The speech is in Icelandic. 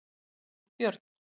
Valbjörn